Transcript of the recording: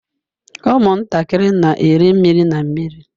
Ụmụntakịrị na-eri mmiri na mmiri.